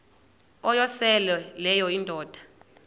uyosele leyo indoda